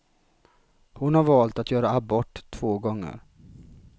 Hon har valt att göra abort, två gånger.